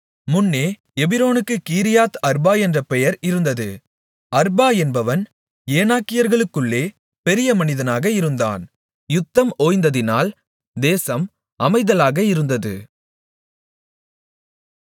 முன்னே எபிரோனுக்குக் Kiriath Arba என்ற பெயர் இருந்தது அர்பா என்பவன் ஏனாக்கியர்களுக்குள்ளே பெரிய மனிதனாக இருந்தான் யுத்தம் ஓய்ந்ததினால் தேசம் அமைதலாக இருந்தது